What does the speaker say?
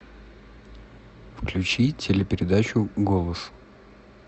включи телепередачу голос